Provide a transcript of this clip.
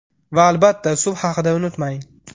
Va, albatta, suv haqida unutmang.